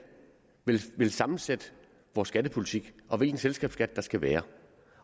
vil sammensætte vores skattepolitik og hvilken selskabsskat der skal være